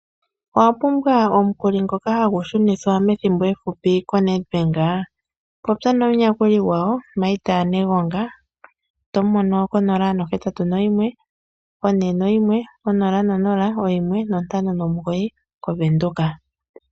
Owa pumbwa omukuli ngoka hagu shunithwa methimbo efupi koNEDBANK ? Popya nomuyakuli gwawo Marth Negonga tomu mono ko 0814100159 moVenduka.